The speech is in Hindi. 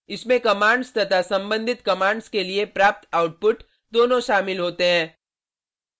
इसमें कमांड्स तथा संबंधित कमांड्स के लिए प्राप्त आउटपुट दोनों शामिल होते हैं